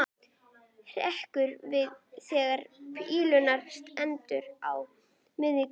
Hrekk við þegar píparinn stendur á miðju gólfi.